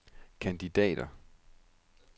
kandidater